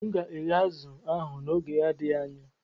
M ga-eghe azụ̀ ahụ n'oge n'adịghị anya.